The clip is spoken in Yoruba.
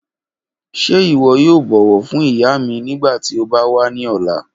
Ṣe iwọ yoo bọwọ fun iya mi nigbati o ba wa ni ọla?